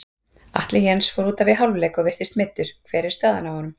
Atli Jens fór útaf í hálfleik og virtist meiddur, hver er staðan á honum?